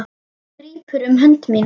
Hún grípur um hönd mína.